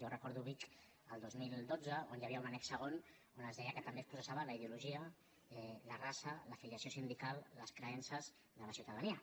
jo recordo vic el dos mil dotze on hi havia un annex segon on es deia que també es processaven la ideologia la raça l’afiliació sindical les creences de la ciutadania